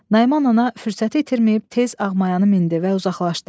Nayman ana fürsəti itirməyib tez Ağmayanı mindi və uzaqlaşdı.